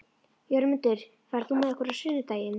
Jörmundur, ferð þú með okkur á sunnudaginn?